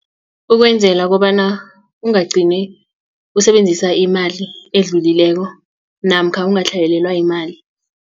Ukwenzela kobana ungagcini usebenzisa imali edlulileko namkha ungatlhayelelwa yimali.